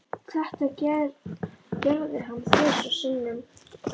Þetta gerði hann þrisvar sinnum.